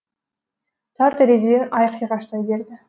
тар терезеден ай қиғаштай берді